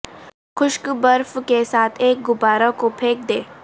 خشک برف کے ساتھ ایک غبارہ کو پھینک دیں